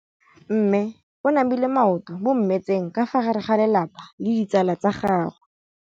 Mme o namile maoto mo mmetseng ka fa gare ga lelapa le ditsala tsa gagwe.